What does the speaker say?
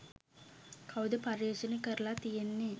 කවුද පර්යේෂණ කරල තියෙන්නෙ.